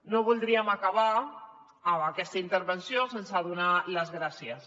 no voldríem acabar aquesta intervenció sense donar les gràcies